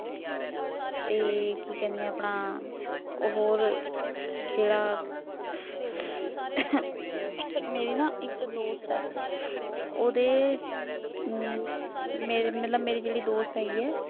ਤੇ ਕੀ ਕਹਿਣੇ ਆਪਣਾ ਉਹ ਹੋਰ ਜਿਹੜਾ ਮੇਰੀ ਨਾ ਇੱਕ ਦੋਸਤ ਏ ਉਹਦੇ ਮਤਲਬ ਮਤਲਬ ਮੇਰੀ ਜਿਹੜੀ ਦੋਸਤ ਹੇਗੀ ਆ।